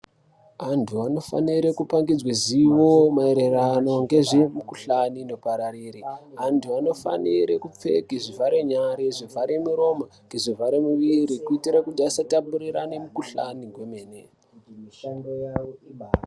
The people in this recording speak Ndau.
Antu vanofanire kupangidzwe zivo maererano ngezvemikuhlane inopararira ,antu vanofanire kupfeke zvivharenyari ,zvivhare miromo ngezvivhare miiri kuitira kuti asatapurirane mikuhlane gwemene